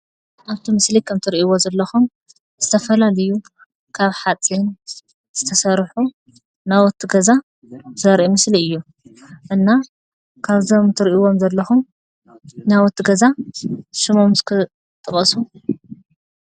ኣብቲ ምስሊ ከምትሪእዎ ዘለኹም ዝተፈላለዩ ካብ ሓፂን ዝተሰርሑ ናውቲ ገዛ ዘርኢ ምስሊ እዩ፡፡ እና ካብ እዞም ትሪእዎም ዘለኹም ናውቲ ገዛ ሽሞም እስኪ ጥቐሱ?